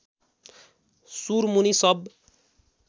सुरमुनि सब